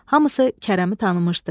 Hamısı Kərəmi tanımışdı.